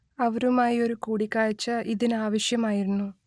അവരുമായി ഒരു കൂടിക്കാഴ്ച ഇതിന് ആവശ്യമായിരുന്നു